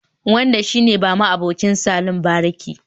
Wanda shi ne ma'abucin salon bariki